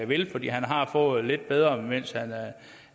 vil fordi han har fået det lidt bedre